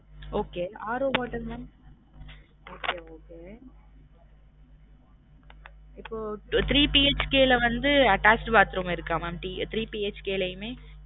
Okay RO water mam okay okay okay இப்போ three BHK ல வந்து attached bathroom இருக்கா mam three BHK லயுமே